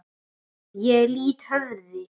Ég lýt höfði.